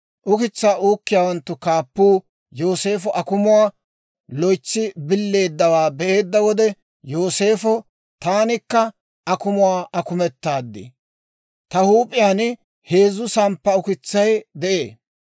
Ukitsaa uukkiyaawanttu kaappuu Yooseefo akumuwaa loytsi billeeddawaa be'eedda wode Yooseefo, «Taanikka akumuwaa akumetaad; ta huup'iyaan heezzu samppa ukitsay de'ee;